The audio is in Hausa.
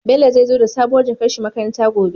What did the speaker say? Bello zai zo da sabuwar jakar shi makaranta gobe